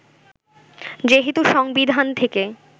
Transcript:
যেহেতু সংবিধান থেকে